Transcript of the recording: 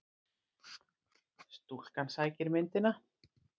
Stúlkan sækir myndina.